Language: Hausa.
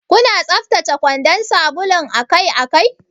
Kuna tsaftace kwandan sabulun akai-akai?